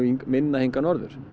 minna hingað norður